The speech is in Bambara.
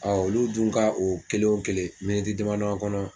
olu dun ka o kelen o kelen miniti dama dama kɔnɔ